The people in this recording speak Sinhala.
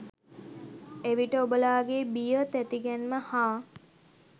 එවිට ඔබලාගේ බිය, තැතිගැන්ම, හා